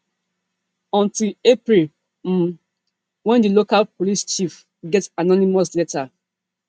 until april um wen di local police chief get anonymous letter